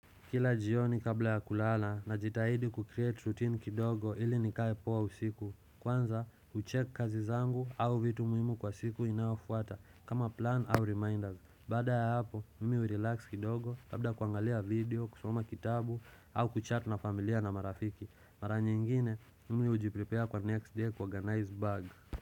Kila jioni kabla ya kulala na jitahidi kukreate routine kidogo ili nikae poa usiku Kwanza ucheck kazi zangu au vitu muhimu kwa siku inayofuata kama plan au reminders Bada ya hapo mimi urelax kidogo labda kuangalia video kusoma kitabu au kuchat na familia na marafiki Mara nyingine mimi ujiprepare kwa next day kwa organize bag.